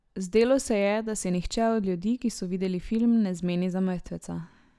Zdelo se je, da se nihče od ljudi, ki so videli film, ne zmeni za mrtveca.